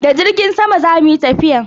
Da jirgin sama zamu yi tafiyan?